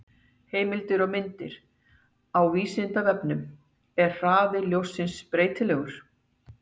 Heimildir og myndir: Á Vísindavefnum: Er hraði ljóssins breytilegur?